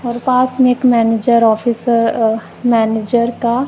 और पास में एक मैनेजर ऑफिस अह मैनेजर का--